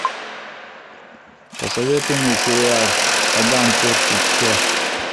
посоветуй мне сериал адам портит все